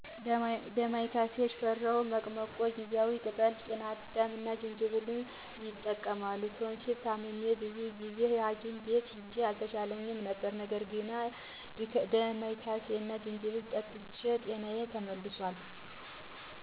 ዳማከሲ፣ ሽፈራው፣ መቅመቆ፣ ጊዜዋ ቅጠል፣ ጤናዳም እና ዝንጅብል ይጠቀማሉ። ቶንሲል ታምሜ ብዙ ጊዜ ሀኪም ቤት ሂጄ አልተሻለኝም ነበር ነገር ግን ዳማከሲ እና ዝንጅብል ጠጥቼበት ጤናዬ ተመልሷል።